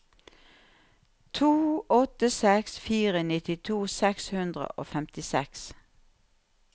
to åtte seks fire nittito seks hundre og femtiseks